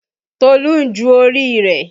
Tolu ń ju orí rẹ̀